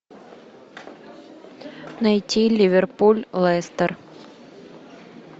найти ливерпуль лестер